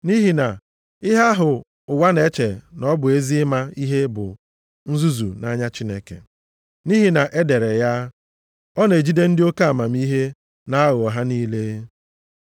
Nʼihi na ihe ahụ ụwa na-eche na ọ bụ ezi ịma ihe bụ nzuzu nʼanya Chineke. Nʼihi na e dere ya, “Ọ na-ejide ndị oke amamihe nʼaghụghọ ha niile.” + 3:19 \+xt Job 5:13\+xt*